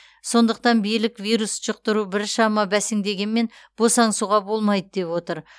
сондықтан билік вирус жұқтыру біршама бәсеңдегенмен босаңсуға болмайды деп отыр